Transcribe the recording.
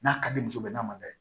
N'a ka di muso bɛɛ n'a ma da